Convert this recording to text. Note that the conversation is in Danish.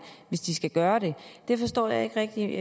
hvis de skal gøre det jeg forstår ikke rigtigt